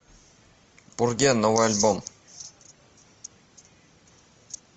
пурген новый альбом